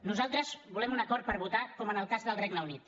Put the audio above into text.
nosaltres volem un acord per votar com en el cas del regne unit